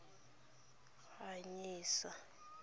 ganyesa